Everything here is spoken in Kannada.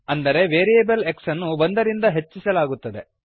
ಅಂದರೆ ವೇರಿಯೇಬಲ್ x ಅನ್ನು ಒಂದರಿಂದ ಹೆಚ್ಚಿಸಲಾಗುತ್ತದೆ